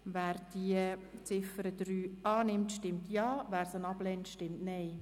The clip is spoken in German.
Wer die Ziffer 3 annimmt, stimmt Ja, wer diese ablehnt, stimmt Nein.